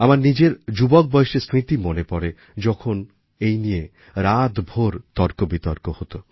আমার নিজের যুবক বয়সের স্মৃতি মনে পড়ে যখন এই নিয়ে রাতভর তর্কবিতর্ক হত